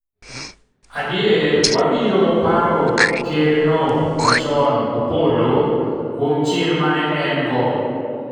Adier, wabiro paro ker no machon Opollo kuom chir mane en go